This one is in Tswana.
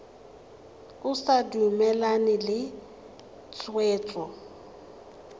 o sa dumalane le tshwetso